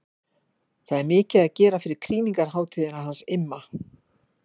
Það er mikið að gera fyrir krýningarhátíðina hans Imma.